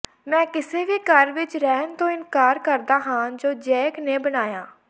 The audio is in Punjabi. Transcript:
ਮੈਂ ਕਿਸੇ ਵੀ ਘਰ ਵਿਚ ਰਹਿਣ ਤੋਂ ਇਨਕਾਰ ਕਰਦਾ ਹਾਂ ਜੋ ਜੈਕ ਨੇ ਬਣਾਇਆ